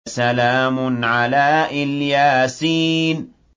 سَلَامٌ عَلَىٰ إِلْ يَاسِينَ